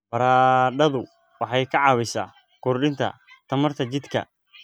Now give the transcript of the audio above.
Baradhadu waxay ka caawisaa kordhinta tamarta jidhka.